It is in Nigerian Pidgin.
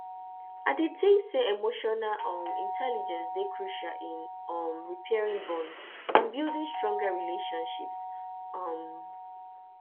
i dey think say emotional um intelligence dey crucial in um repairing bonds and building stronger relationships um